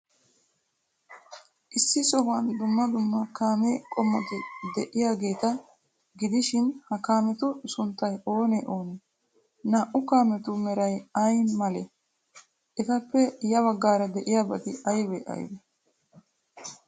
Issi sohuwan dumma dumma kaame qommoti de'iyaageeta gidishin, ha kaametu sunttay oonee oonee? Naa''u kaametu meray ay malee? Etappe ya baggaara de'iyaabati aybee aybee?